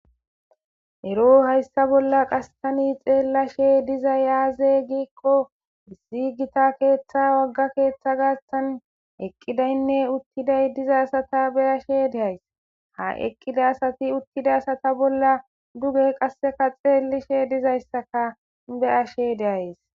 ero hayssa bolla qassani xeellashe dizay aaze giikko issi gita keeththa wagga keeththa gaastan eqqidaynne uttiday diza sata beyashe deays ha eqqida asati uttida asata bolla duge qasseka xeellishe dizayssaka be ashe deays